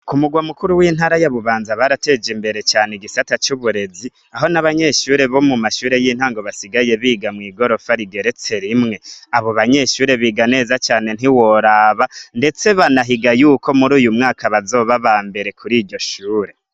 Kumugwa makuru w'intara ya Bubanza barateje imbere cane igisata c'uburezi aho n'abanyeshure bo mu mashure y'intango basigaye biga mw'igorofa rigeretse rimwe. Abo banyeshuri biga neza cane ntiworaba ndetse banahiga y'uko uyu mwaka bazoba aba mbere kuri iryo shure.